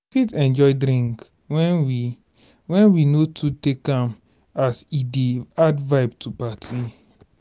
we fit enjoy drink when we when we no too take am as e dey add vibe to party